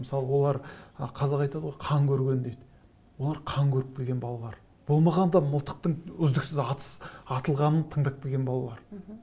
мысалы олар қазақ айтады ғой қан көрген дейді олар қан көріп келген балалар болмағанда мылтықтың үздіксіз атыс атылғанын тыңдап келген балалар мхм